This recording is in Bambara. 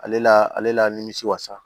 Ale la ale la nimisi wasa